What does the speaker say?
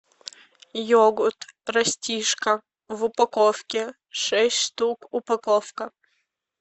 йогурт растишка в упаковке шесть штук упаковка